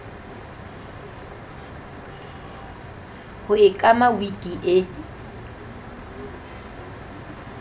ho e kama wiki e